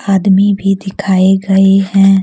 आदमी भी दिखाए गए हैं।